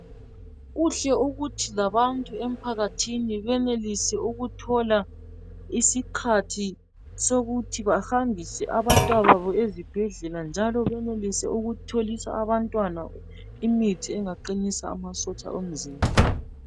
Kuhle ukuthi labantu ephakathi benelise ukuthola isikhathi sokuthi bahambise abantwana babo ezibhedlela njalo benelise ukutholisa abantwana imithi engaqinisa amasotsha omzimba wabo